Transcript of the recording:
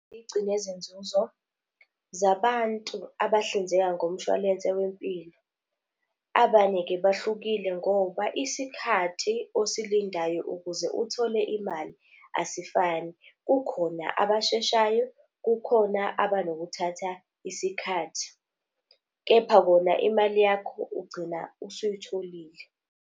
Igcine zenzuzo zabantu abahlinzeka ngomshwalense wempilo. Abanye-ke bahlukile ngoba isikhathi osilindayo ukuze uthole imali asifani. Kukhona abasheshayo, kukhona abanokuthatha isikhathi. Kepha kona imali yakho ugcina usuyitholile.